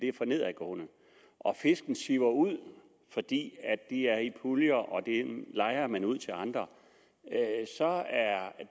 er for nedadgående og fisken siver ud fordi de er i puljer og dem lejer man ud til andre så